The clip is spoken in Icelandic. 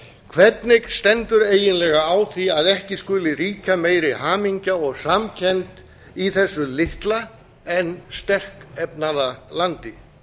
hvernig stendur eiginlega á því að ekki skuli ríkja meiri hamingja og samkennd í þessu litla en sterkefnaða landi